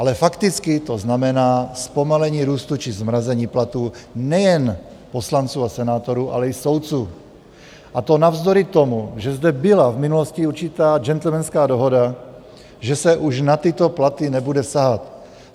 Ale fakticky to znamená zpomalení růstu či zmrazení platů nejen poslanců a senátorů, ale i soudců, a to navzdory tomu, že zde byla v minulosti určitá gentlemanská dohoda, že se už na tyto platy nebude sahat.